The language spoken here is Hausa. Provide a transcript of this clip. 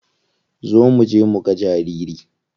Zo muje muga jariri.